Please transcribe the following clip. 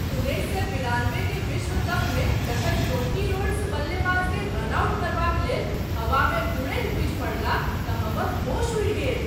उन्नैस सए बिरानबे के विश्व कपमे जखन जोंटी रोड्स बल्लेबाजकेँ रन आउट करबाक लेल हवामे उड़ैत बुझि पड़लाह तऽ हमर होश उड़ि गेल।